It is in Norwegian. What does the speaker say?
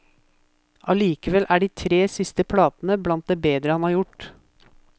Alikevel er de tre siste platene blandt det bedre han har gjort.